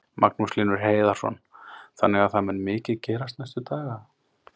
Magnús Hlynur Hreiðarsson: Þannig að það mun mikið gerast næstu daga?